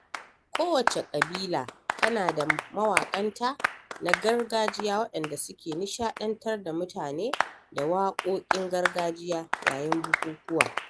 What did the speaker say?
Kowacce ƙabila tana da mawaƙanta na gargajiya waɗanda suke nishaɗantar da mutane da waƙoƙin gargajiya yayin bukukuwa.